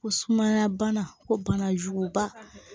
Ko sumaya bana ko bana juguba